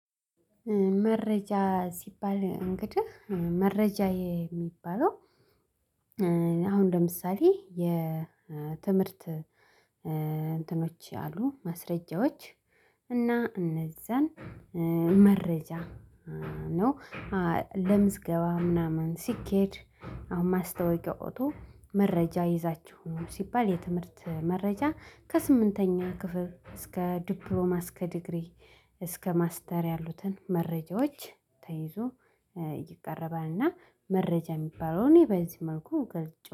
መረጃ ሲባል እንግዲህ መረጃ የሚባለው አሁን ለምሳሌ የትምህርት እንትኖች አሉ ማስረጃዎች እነዚህን መረጃ ነው ለምዝገባ ምናምን ሲኬድ። አሁን ማስታወቂያ ወጥቶ መረጃ ይዛችሁ ኑ ሲባል የትምህርት መረጃ ከስምንተኛ ክፍል እስከ ዲፕሎማ እስከ ዲግሪ እስከ ማስተር ያሉትን መረጃዎች ተይዞ ይቀርባልና። መረጃ እሚባለውን እኔ በዚህ መልኩ እገልጸዋለሁ